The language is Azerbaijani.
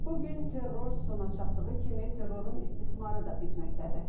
Bu gün terror sona çatdığı kimi, terrorun istismarı da bitməkdədir.